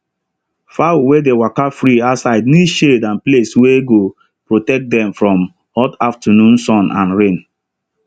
fowl wey dey waka free outside need shade and place wey go protect dem from hot afternoon sun and rain